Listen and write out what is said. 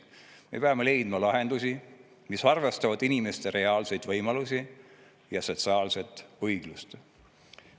Me peame leidma lahendusi, mis arvestavad inimeste reaalseid võimalusi ja sotsiaalset õiglust.